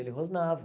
Ele rosnava.